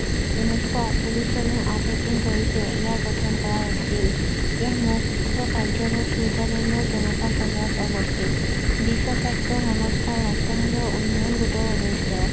ঊনৈশ আঠচল্লিশ চনৰ আঠ এপ্ৰিল তাৰিখে ইয়াক গঠন কৰা হৈছিল এই মুখ্য কাৰ্যালয় চুইজাৰলেণ্ডৰ জেনিফা চহৰত অৱস্থিত বিশ্ব স্বাস্থ্য সংস্থা ৰাষ্ট্ৰ সংঘৰ উন্নয়ন ঘটোৱাৰ উদ্দেশ্য